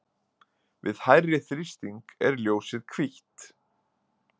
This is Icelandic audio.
við hærri þrýsting er ljósið hvítt